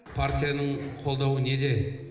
партияның қолдауы неде